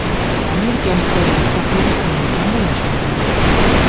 Amerikaliklar Mustaqillik kunini qanday nishonladi?